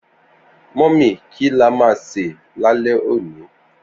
Mummy ki la ma ṣè lálé òní?